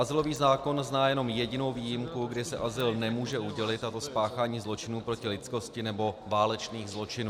Azylový zákon zná jenom jedinou výjimku, kdy se azyl nemůže udělit, a to spáchání zločinu proti lidskosti nebo válečných zločinů.